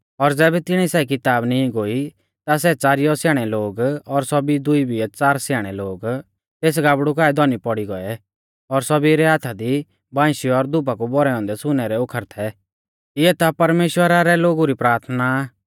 और ज़ैबै तिणिऐ सै किताब नीं गोई ता सै च़ारिया स्याणै लोग और सौभी दुई बिऐ च़ार स्याणै लोग तेस गाबड़ु काऐ धौनी पौड़ी गौऐ और सौभी रै हाथा दी बांइशी और धूपा कु भौरै औन्दै सुनै रै ओखर थै इऐ ता परमेश्‍वरा रै लोगु री प्राथना आ